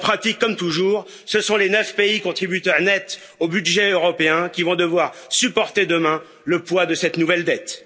En pratique, comme toujours, ce sont les 9 pays contributeurs nets au budget européen qui vont devoir supporter demain le poids de cette nouvelle dette.